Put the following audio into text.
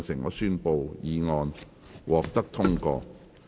我宣布議案獲得通過。